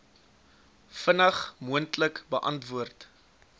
vinnig moontlik beantwoord